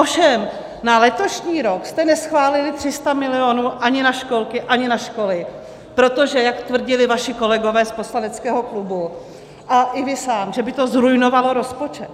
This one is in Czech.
Ovšem na letošní rok jste neschválili 300 milionů ani na školky, ani na školy, protože, jak tvrdili vaši kolegové z poslaneckého klubu a i vy sám, že by to zruinovalo rozpočet.